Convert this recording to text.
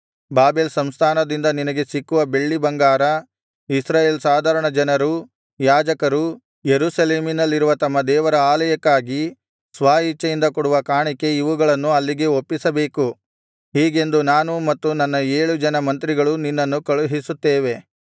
Babel ಸಂಸ್ಥಾನದಲ್ಲಿ ನಿನಗೆ ಸಿಕ್ಕುವ ಬೆಳ್ಳಿಬಂಗಾರ ಇಸ್ರಾಯೇಲ್ ಸಾಧಾರಣಜನರೂ ಯಾಜಕರೂ ಯೆರೂಸಲೇಮಿನಲ್ಲಿರುವ ತಮ್ಮ ದೇವರ ಆಲಯಕ್ಕಾಗಿ ಸ್ವ ಇಚ್ಛೆಯಿಂದ ಕೊಡುವ ಕಾಣಿಕೆ ಇವುಗಳನ್ನು ಅಲ್ಲಿಗೆ ಒಪ್ಪಿಸಬೇಕು ಹೀಗೆಂದು ನಾನೂ ಮತ್ತು ನನ್ನ ಏಳು ಜನ ಮಂತ್ರಿಗಳೂ ನಿನ್ನನ್ನು ಕಳುಹಿಸುತ್ತೇವೆ